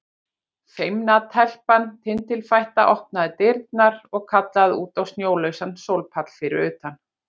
Feimna telpan tindilfætta opnaði dyrnar og kallaði út á snjólausan sólpall fyrir utan.